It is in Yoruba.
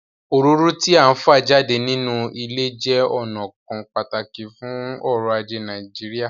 Òróró tí à ń fa jáde nínú ilẹ̀ jẹ́ ọnà kan pàtàkì fún ọ̀rọ̀ ajé Nàìjíríà